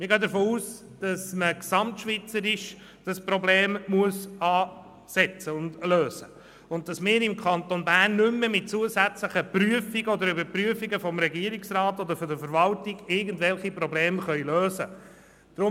Ich gehe davon aus, dass man dieses Problem gesamtschweizerisch angehen und lösen muss und dass wir im Kanton Bern mit zusätzlichen Prüfungen oder Überprüfungen vom Regierungsrat oder vonseiten der Verwaltung nicht mehr irgendwelche Probleme lösen können.